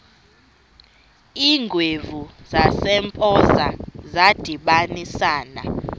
iingwevu zasempoza zadibanisana